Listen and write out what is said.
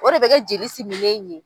O de bɛ kɛ jelisiminnen in ye.